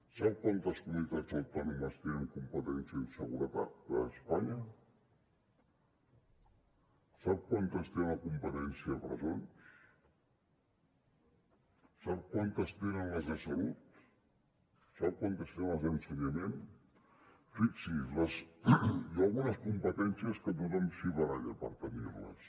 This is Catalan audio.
sap quantes comunitats autònomes tenen competència en seguretat a espanya sap quantes tenen la competència de presons sap quantes tenen les de salut sap quantes tenen les d’ensenyament fixi’s hi ha algunes competències que tothom s’hi baralla per tenir les